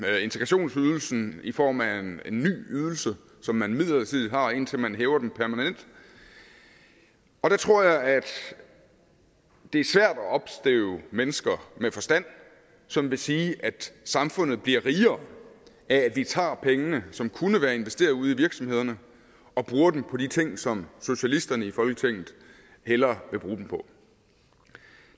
integrationsydelsen i form af en ny ydelse som man midlertidigt har indtil man hæver den permanent og der tror jeg det er svært at opstøve mennesker med forstand som vil sige at samfundet bliver rigere af at vi tager pengene som kunne være investeret ude i virksomhederne og bruger dem på de ting som socialisterne i folketinget hellere vil bruge dem på